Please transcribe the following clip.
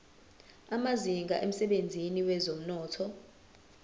amazinga emsebenzini wezomnotho